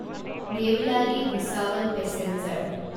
Deolali Bhusawal passenger